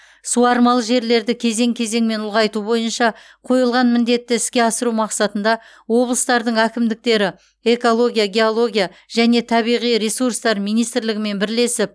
суармалы жерлерді кезең кезеңмен ұлғайту бойынша қойылған міндетті іске асыру мақсатында облыстардың әкімдіктері экология геология және табиғи ресурстар министрлігімен бірлесіп